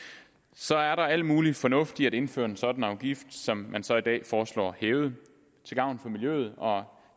så er der er al mulig fornuft i at indføre en sådan afgift som man så i dag foreslår hævet til gavn for miljøet og